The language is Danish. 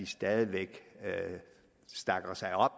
stadig væk stakker sig op